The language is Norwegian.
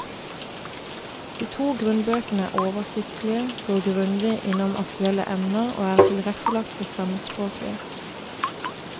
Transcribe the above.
De to grunnbøkene er oversiktlige, går grundig igjennom aktuelle emner og er tilrettelagt for fremmedspråklige.